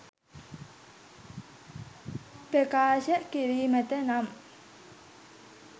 ප්‍රකාශ කිරීමට නම්